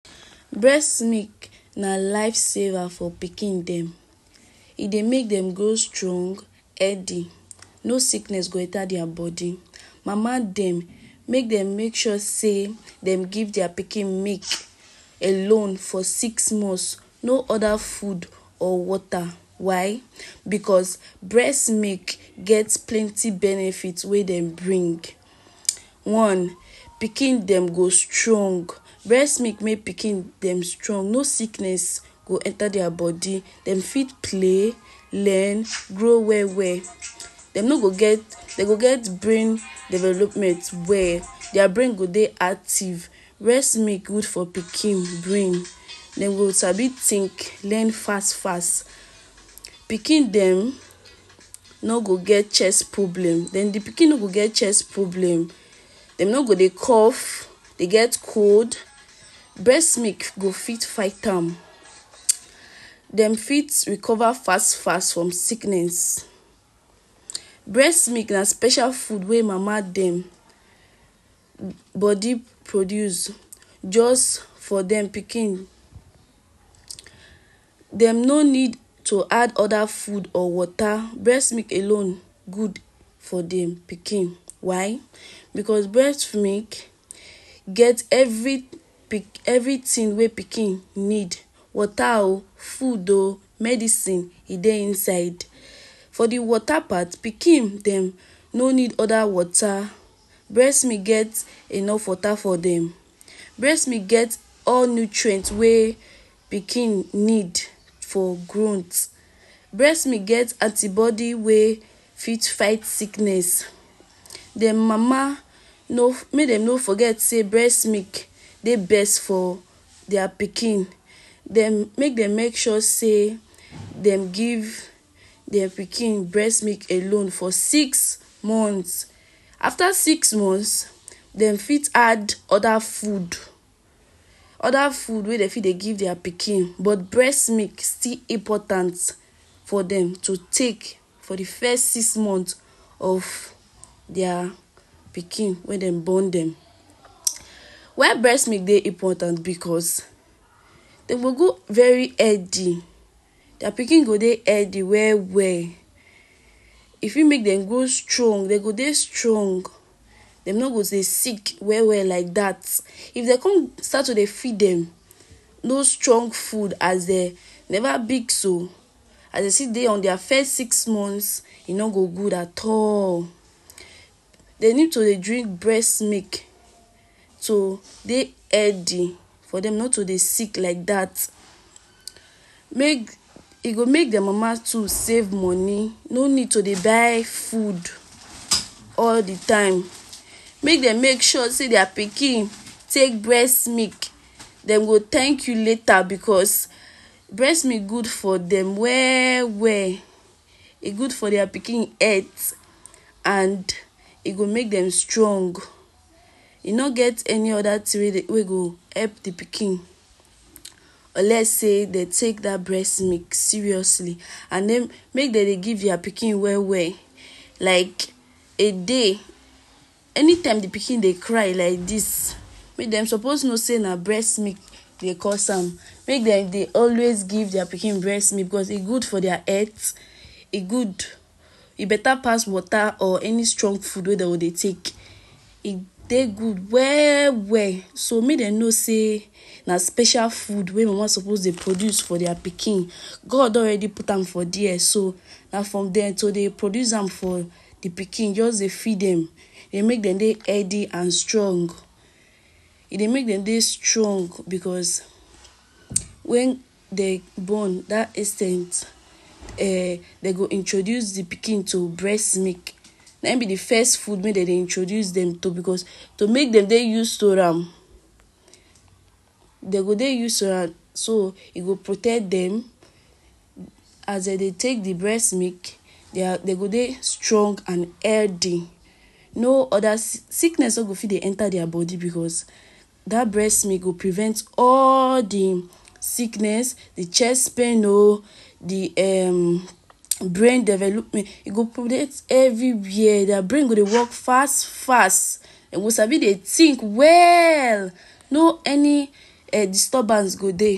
Breast milk na life saver for pikin dem, e dey make dem grow strong, healthy, no sickness go enta dia body, mama dem make dem make sure sey dem give dia pikin milk alone for six months, no oda food or water, why? Because breast milk get plenty benefit wey dem bring. One, pikin dem go strong, brest milk make pikin dem strong no sickness go enta dia body, dem fit play, learn grow well well, dem no go get, dem go get brain development well, dia brain go dey active, breast milk good for pikin brain dem go sabi think, learn fast fast, pikin dem no go get chest problem, dem d pikin no go get chest problem, dem no go dey cough, dey get cold, breast milk go fit fight am, dem fit recover fast fast from sickness. Breast milk na special food wey mama dem body produce just for dem pikin, dem no need to add oda food or water breast milk alone good for dem pikin why? Because breast milk get everything wey pikin need, water o, food o, medicine e dey inside for d water part pikin dem no need oda water, breast milk get enough water for dem, breast milk get all nutrient wey pikin need for growth, breastmilk get antibody wey fit fight sickness, dem mama no make dem no forget sey breast milk dey best for dia pikin, dem make dem make sure sey dem give dia pikin breastmilk alone for six months, afta six months dem fit add oda foods, oda food wey dem fit dey give dia pikin but breast milk still important for dem to take for d first six months of dia pikin wey dem born dem, why breast milk dey important? Because dem go grow very healthy, dia pikin go dey healthy well well, e fit make dem grow strong, dem go dey strong, dem no go dey sick well well like dat, if dem con start to dey feed dem, no strong food as dem neva big so, as dey still dey on dia first six months e no go good at all, dem need to dey drink brest milk to dey healthy for dem not to dey sick like dat, make e go make dia mama too save money no need to dey buy food all d time, make dem make sure sey dia pikin take breast milk, dem go thank you later because breast milk good for dem well well, e gud for dia pikin health and e go make dem strong e no get any oda thing wey go help d pikin unless sey dem take dat breast milk seriously and make dem dey give dia pikin well well, like a day, anytime di pikin dey cry like dis make dem suppose know sey na breast milk dey cause am make dem dey always give dia pikin breast milk because e good for dia health, e good, e beta pass water or any strong food wey dem go dey take, e dey good well well, so make dey no sey na special food wey mama suppose dey produce for dia pikin, God don already put am for there so na for dem to dey produce am for d pikin, jus dey feed dem make dem dey healthy and strong, e dey make dem dey strong because wen dem born dat ex ten t um dem go introduce d pikin to breast milk nah in b d first food wey dem dey introduce dem to, because to make dem dey use to am, dey go dey use to am so e go protect dem, as dey dey take d breast milk, deir dem go dey strong and healthy no oda sickness no go dey enta dia body bcause dat breast milk go prevent all d sickness, d chest pain oh, d um brain development, e go protect everywhere, dia brain go dey work fast fast, dem go sabi dey think well, no any disturbance go dey.